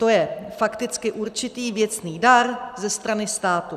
To je fakticky určitý věcný dar ze strany státu.